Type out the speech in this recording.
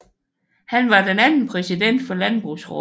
Han var den anden præsident for Landbrugsraadet